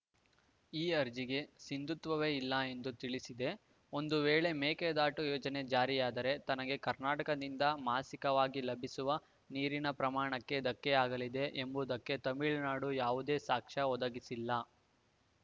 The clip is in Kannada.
ಈ ಅರ್ಜಿಗೆ ಸಿಂಧುತ್ವವೇ ಇಲ್ಲ ಎಂದು ತಿಳಿಸಿದೆ ಒಂದು ವೇಳೆ ಮೇಕೆದಾಟು ಯೋಜನೆ ಜಾರಿಯಾದರೆ ತನಗೆ ಕರ್ನಾಟಕದಿಂದ ಮಾಸಿಕವಾಗಿ ಲಭಿಸುವ ನೀರಿನ ಪ್ರಮಾಣಕ್ಕೆ ಧಕ್ಕೆಯಾಗಲಿದೆ ಎಂಬುದಕ್ಕೆ ತಮಿಳುನಾಡು ಯಾವುದೇ ಸಾಕ್ಷ್ಯ ಒದಗಿಸಿಲ್ಲ